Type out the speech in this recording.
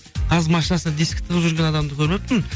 қазір машинасына дискі тығып жүрген адамды көрмеппін